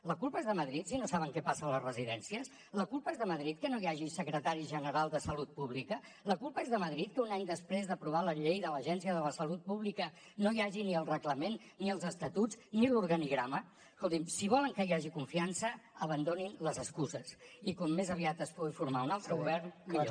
la culpa és de madrid si no saben què passa a les residències la culpa és de madrid que no hi hagi secretari general de salut pública la culpa és de madrid que un any després d’aprovar la llei de l’agència de la salut pública no hi hagi ni el reglament ni els estatuts ni l’organigrama escolti’m si volen que hi hagi confiança abandonin les excuses i com més aviat es pugui formar un altre govern millor